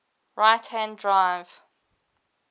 right hand drive